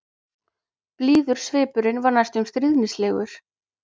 Blíður svipurinn var næstum stríðnislegur.